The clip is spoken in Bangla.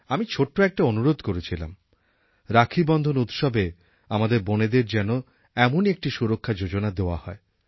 আমি ছোট্ট একটি অনুরোধ করেছিলাম রাখীবন্ধন উৎসবে আমাদের বোনেদের যেন এমনই একটি সুরক্ষা যোজনা দেওয়া হয়